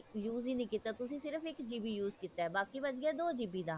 use ਹੀ ਨਹੀ ਕੀਤਾ ਤੁਸੀਂ ਸਿਰਫ ਇੱਕ GB use ਕੀਤਾ ਬਾਕੀ ਬਚ ਗਿਆ ਦੋ GB ਦਾ